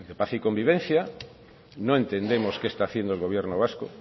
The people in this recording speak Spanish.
paz y convivencia no entendemos qué está haciendo el gobierno vasco